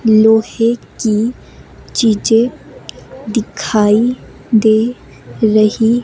लोहे की चीजें दिखाई दे रही --